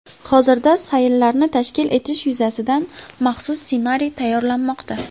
Hozirda sayllarni tashkil etish yuzasidan maxsus ssenariy tayyorlanmoqda.